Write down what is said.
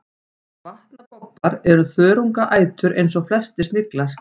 vatnabobbar er þörungaætur eins og flestir sniglar